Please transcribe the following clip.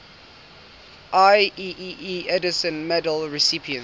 ieee edison medal recipients